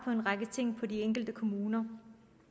på en række ting i de enkelte kommuner